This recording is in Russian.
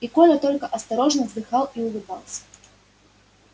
и коля только осторожно вздыхал и улыбался